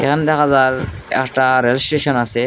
এখান দেখা যার একটা রেল স্টেশন আছে।